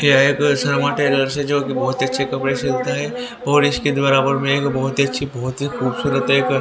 यह एक श्यामा टेलर्स है जोकि बहोत ही अच्छे कपड़े सिलता है और इसके बराबर में एक बहोत ही अच्छी बहोत ही खूबसूरत एक--